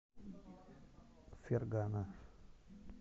фергана